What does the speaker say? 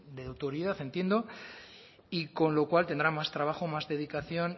de autoridad entiendo y con lo cual tendrá más trabajo más dedicación